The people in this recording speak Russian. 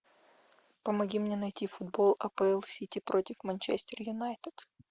помоги мне найти футбол апл сити против манчестер юнайтед